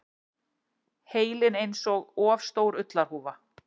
Heilinn einsog of stór ullarhúfa.